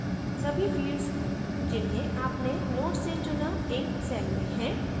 सभी fields जिन्हें आपने node से चुना एक cell में है